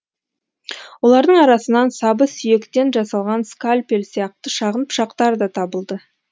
олардың арасынан сабы сүйектен жасалған скальпель сияқты шағын пышақтар да табылды